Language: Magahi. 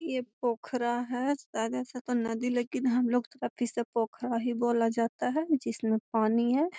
यह पोखरा है शायद ऐसा तो नदी है लेकिन हम लोग तो काफी पोखरा ही बोला जाता है जिसमें पानी है।